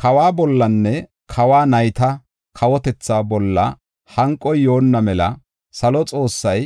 Kawa bollanne kawa nayta kawotetha bolla hanqoy yoonna mela salo Xoossay